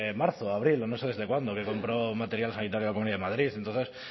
marzo abril o no sé desde cuándo que compró material sanitario la comunidad de madrid entonces